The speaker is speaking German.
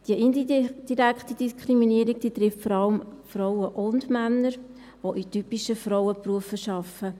Die indirekte Diskriminierung, die trifft vor allem Frauen und Männer, die in typischen Frauenberufen arbeiten.